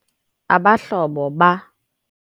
Abahlobo ba